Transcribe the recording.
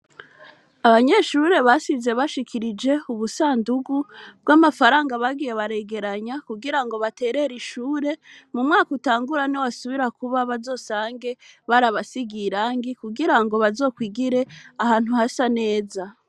Abanyeshure basize bashikirije ubusandugu bw'amafaranga bagiye baregeranya mu guterera ishuri, mu mwaka utangura niwasubira kuba bazosange barabasigiye irangi, kugirango bazokwigire ahantu hasa neza.